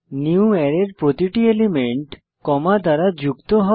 নিউয়ারে এর প্রতিটি element comma দ্বারা যুক্ত হবে